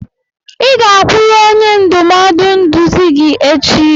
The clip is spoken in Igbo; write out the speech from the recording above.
Ị ga-agakwuru onye ndụmọdụ nduzi gị echi!